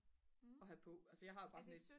at have på altså jeg har bare sådan et